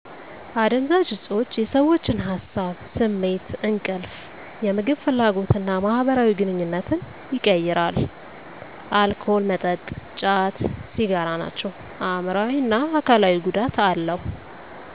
አደንዛዥ እፆች የሰዎችን ሀሳብ፤ ስሜት፤ እንቅልፍ፤ የምግብ ፍላጎት እና ማህበራዊ ግንኙነትን ይቀይራሉ። አልኮል መጠጥ፤ ጫት፤ ሲጋራ ናቸው። አይምሮአዊ እና አካላዊ ጉዳት አለው።